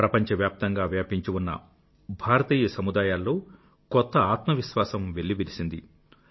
ప్రపంచవ్యాప్తంగా వ్యాపించి ఉన్న భారతీయ సముదాయాల్లో కొత్త ఆత్మవిశ్వాసం వెల్లివిరిసింది